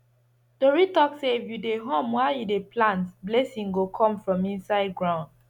tori talk say if you dey hum while you dey plant blessing go come from inside ground